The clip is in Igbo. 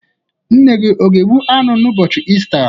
Nne gi ọ ga-egbu anu n'ubochi Ista?